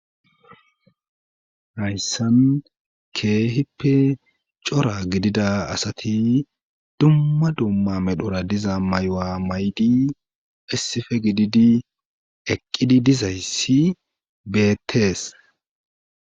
Hayssan keehippe c'ora gidida asati dumma dumma medhora diza may'uwa maydi issife gididi eqqidi dizayssi betes